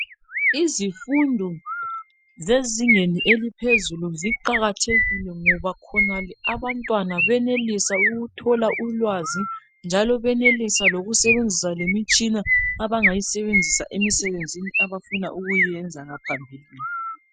Izifundo zezingeni eliphezulu ziqakathekile ngoba khonale abantwana benelisa ukuthola ulwazi njalo benelisa lokusebenzisa lemitshina abangayisebenzisa emisebenzini abafuna ukuyenza ngaphambilini